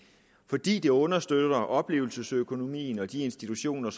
fordi det understøtter oplevelsesøkonomien og de institutioner